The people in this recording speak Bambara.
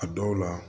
A dɔw la